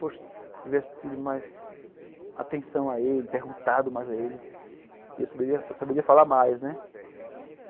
Poxa, se eu tivesse tido mais atenção a ele, perguntado mais a ele, eu saberia falar mais, né?